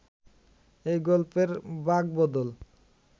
এই গল্পের বাঁকবদল